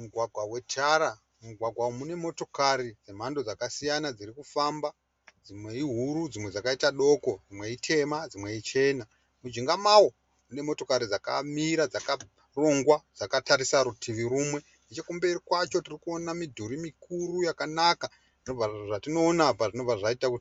Mugwangwa wetara, mugwangwa umu munemotikari dzemhando dzakasiyana dziri kufamba dzimwe ihuru dzimwe dzakaita doko, dzimwe itema, dzimwe ichena . Munjinga mawo munemotikari dzimwe dzakamira dzakarongwa dzakatarisa rutivi rumwe, nechikumberi kwacho tirikuona mudhuri mikuru yakanaka. Nezvatinoona apa tobva